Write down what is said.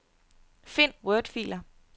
Find wordfiler.